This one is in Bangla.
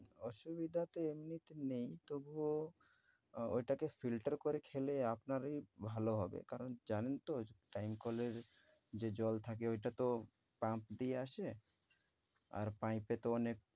অসুবিধা তো এমনিতে নেই তবুও আহ ঐটাকে filter করে খেলে আপনারই ভালো হবে। কারণ জানেন তো যে time কলের যে জল থাকে ঐটা তো pump দিয়ে আসে আর pipe এ তো অনেক